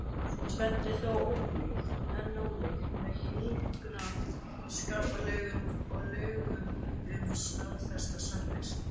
Tvennt er þó enn ólíkt með hjúskaparlögunum og lögum um staðfesta samvist.